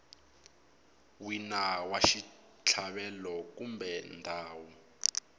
wina wa xitlhavelo kumbe ndhawu